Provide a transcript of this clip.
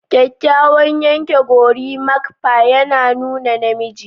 Kyakkyawan yanke gorimakpa yana nuna namiji